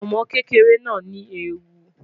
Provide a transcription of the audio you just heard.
Ọmọ kekere naa ni eewu